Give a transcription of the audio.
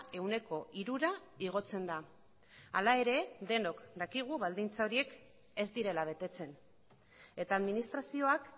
ehuneko hirura igotzen da hala ere denok dakigu baldintza horiek ez direla betetzen eta administrazioak